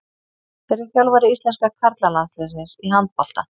Hver er þjálfari íslenska karla landsliðsins í handbolta?